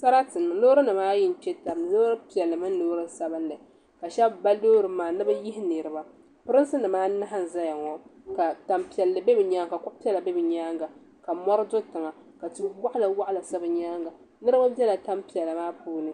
Sarati n-niŋ loorinima ayi n-kpe taba ni loor’ piɛlli mini loor’ sabinli ka shɛba ba loori maa ni bɛ yihi niriba polinsi anahi n-zaya ŋɔ ka tan' piɛlli be bɛ nyaaŋa ka kuɣ’ piɛlli be bɛ nyaabɛ ka mɔri do tiŋa ka ti’ waɣilawaɣila sa bɛ nyaaŋa niriba bela tan’ piɛla maa puuni